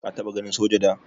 Ka taba ganin soja da?